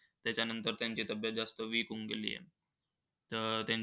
त्याच्यानंतर त्यांची तब्येत जास्त weak होऊन गेली आहे. तर त्यांची